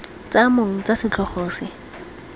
tsa mong tsa setlhogo se